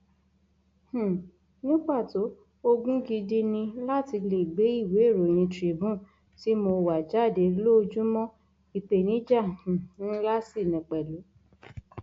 um ní pàtó ogún gidi ni láti lè gbé ìwéèròyìn tribune tí mo wà jáde lóòójúmọ ìpèníjà um ńlá ṣì ni pẹlú